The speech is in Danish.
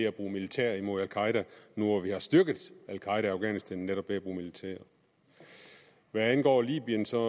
at bruge militær mod al qaeda nu hvor vi har styrket al qaeda i afghanistan netop ved at bruge militær hvad angår libyen så